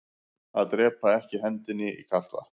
Að drepaa ekki hendinni í kalt vatn